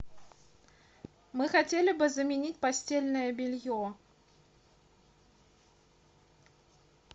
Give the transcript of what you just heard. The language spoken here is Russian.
мы хотели бы заменить постельное белье